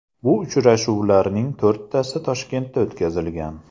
Bu uchrashuvlarning to‘rttasi Toshkentda o‘tkazilgan.